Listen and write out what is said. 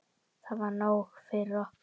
Það var nóg fyrir okkur.